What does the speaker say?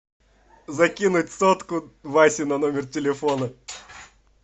закинуть сотку васе на номер телефона